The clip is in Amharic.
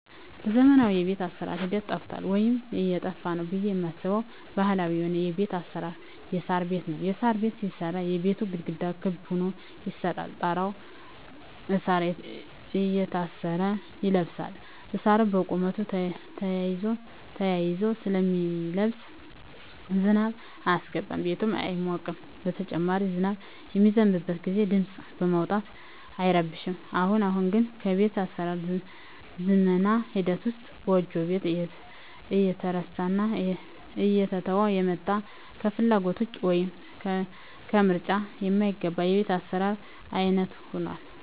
በዘመናዊ የቤት አሰራር ሂደት ጠፍቷል ወይም እየጠፋ ነው ብየ ማስበው ባህላዊ የሆነው የቤት አሰራር የሳር ቤት ነው። የሳር ቤት ሲሰራ የቤቱ ግድግዳ ክብ ሁኖ ይሰራና ጣራው እሳር እየታሰረ ይለብሳል እሳሩ በቁመቱ ተያይዞ ስለሚለብስ ዝናብ አያስገባም ቤቱም አይሞቅም በተጨማሪም ዝናብ በሚዘንብበት ግዜ ድምጽ በማውጣት አይረብሽም። አሁን አሁን ግን በቤት አሰራር ዝመና ሂደት ውስጥ ጎጆ ቤት እየተረሳና እየተተወ የመጣ ከፍላጎት ውጭ ወይም ከምርጫ ማይገባ የቤት አሰራር አይነት ሁኗል።